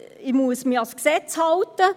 «Ich muss mich ans Gesetz halten.»